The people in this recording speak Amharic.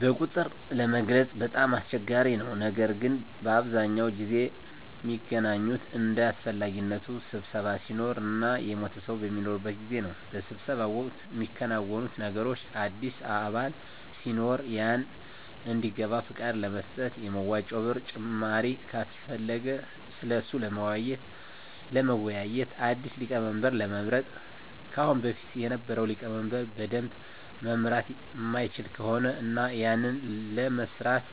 በቁጥር ለመግለፅ በጣም አስቸጋሪ ነው ነገር ግን በአብዛኛው ጊዜ ሚገናኙት እንደ አሰፈላጊነቱ ስብሰባ ሲኖር እና የሞተ ሰው በሚኖርበት ጊዜ። በስብሰባው ወቅት ሚከናወኑት ነገሮች አዲስ አባል ሲኖር ያንን እንዲገባ ፍቃድ ለመስጠት፣ የመዋጮ ብር ጭማሪ ካሰፈለገ ስለሱ ለመወያዬት፣ አዲስ ሊቀመንበር ለመምረጥ ከአሁን በፊት የነበረው ሊቀመንበር በደንብ መምራት ማይችል ከሆነ እና ያንን ለመስራት